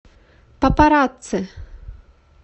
папарацци